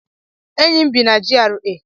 enyi m bi na GRA